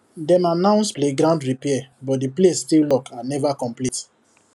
dem announce playground repair but the place still lock and never complete